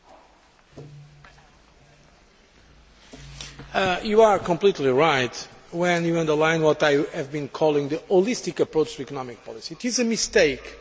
You are completely right when you underline what I have been calling the holistic approach to economic policy. It is a mistake and I think now Member States are well aware of it.